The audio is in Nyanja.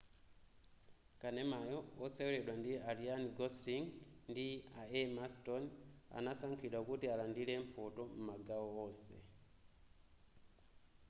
kanemayo woseweledwa ndi a ryan gosling andi a emma stone anasankhidwa kuti alandile mphoto m'magawo onse